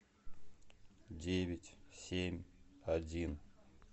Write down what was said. девять семь один